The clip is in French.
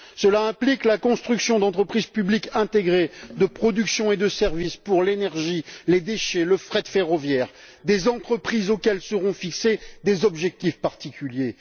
Cela implique la construction d'entreprises publiques intégrées de production et de service pour l'énergie, les déchets, le fret ferroviaire, des entreprises auxquelles seront fixés des objectifs particuliers.